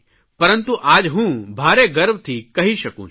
પરંતુ આજ હું ભારે ગર્વથી કહી શકું છું